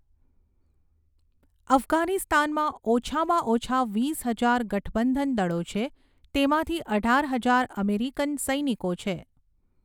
અફઘાનિસ્તાનમાં ઓછામાં ઓછા વીસ હજાર ગઠબંધન દળો છે, તેમાંથી અઢાર હજાર અમેરિકન સૈનિકો છે.